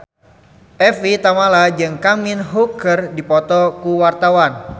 Evie Tamala jeung Kang Min Hyuk keur dipoto ku wartawan